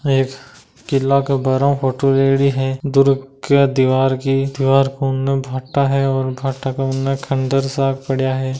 एक कीला के बारव फोटो लेयडी है दुर्ग के दीवार की दीवार को उन्ने भाटा है और भाटा के उन्ने खन्डर सा पड़िया है।